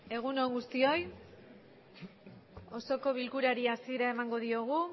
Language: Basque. egun on guztioi osoko bilkurari hasiera emango diogu